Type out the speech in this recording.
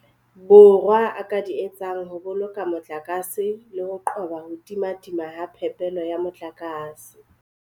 Borwa a ka di etsang ho boloka motlakase le ho qoba ho timatima ha phepelo ya motlakase.